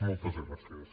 moltes gràcies